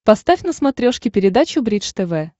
поставь на смотрешке передачу бридж тв